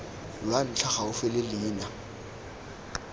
lwa ntlha gaufi le leina